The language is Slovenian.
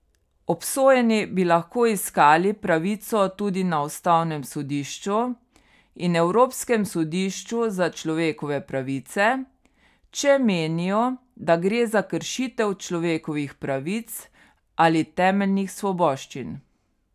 Obsojeni bi lahko iskali pravico tudi na ustavnem sodišču in Evropskem sodišču za človekove pravice, če menijo, da gre za kršitev človekovih pravic ali temeljnih svoboščin.